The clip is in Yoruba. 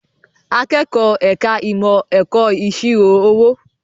Akẹ́kọ̀ọ́ ẹ̀ka ìmọ̀ ẹ̀kọ́ ìṣirò owó